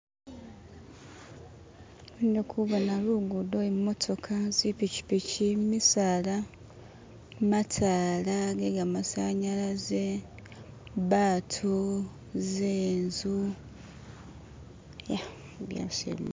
ndikubona lugudo imotoka zipikipiki misaala mataala gegamasanyalaze batu zinzu ye